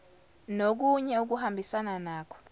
nokunye okuhambisana nakho